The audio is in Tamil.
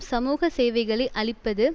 சமூக சேவைகளை அழிப்பது